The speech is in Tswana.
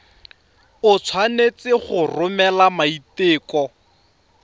o tshwanetse go romela maiteko